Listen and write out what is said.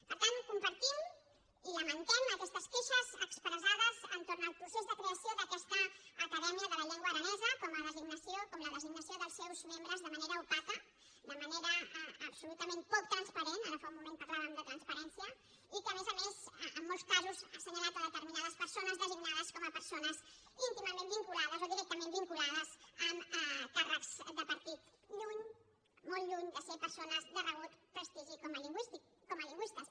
per tant compartim i lamentem aquestes queixes expressades entorn del procés de creació d’aquesta acadèmia de la llengua aranesa com la designació dels seus membres de manera opaca de manera absolutament poc transparent ara fa un moment parlàvem de transparència i que a més a més en molts casos ha assenyalat determinades persones designades com a persones íntimament vinculades o directament vinculades amb càrrecs de partit lluny molt lluny de ser persones de reconegut prestigi com a lingüistes